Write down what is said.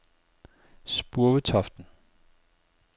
Spurvetoften